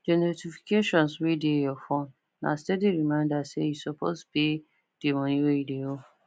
the notifications wey dey your phone na steady reminder say you suppose pay the money wey you de owe